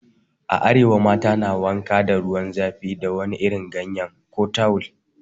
A arewa, mata na wankan ruwan zafi da wani irin ganyen ko tawul.